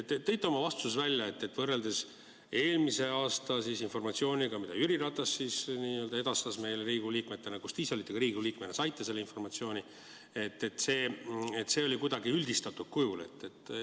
Tõite oma vastustes välja, et võrreldes eelmise aasta informatsiooniga, mida Jüri Ratas edastas meile, Riigikogu liikmetele, kui te ise ka Riigikogu liikmena saite seda informatsiooni, oli see kuidagi üldistatud kujul.